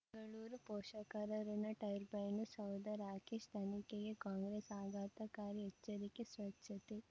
ಬೆಂಗಳೂರು ಪೋಷಕರಋಣ ಟರ್ಬೈನು ಸೌಧ ರಾಕೇಶ್ ತನಿಖೆಗೆ ಕಾಂಗ್ರೆಸ್ ಆಘಾತಕಾರಿ ಎಚ್ಚರಿಕೆ ಸ್ವಚ್ಛತೆ